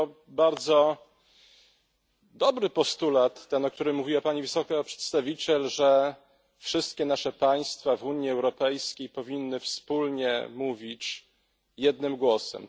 To bardzo dobry postulat, ten o którym mówiła pani wysoki przedstawiciel, że wszystkie nasze państwa w Unii Europejskiej powinny wspólnie mówić jednym głosem.